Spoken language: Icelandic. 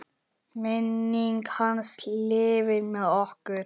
Minning hans lifir með okkur.